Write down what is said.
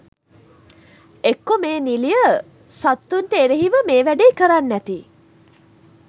එක්කො මේ නිලිය සත්තුන්ට එරෙහිව මේ වැඩේ කරන්න ඇති